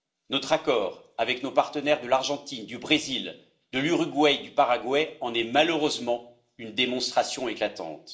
Notre accord avec nos partenaires de l'Argentine, du Brésil, de l'Uruguay et du Paraguay en est malheureusement une démonstration éclatante.